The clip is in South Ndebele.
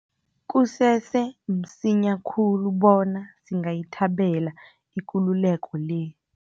Kusese msinya khulu bona singayithabela ikululeko le.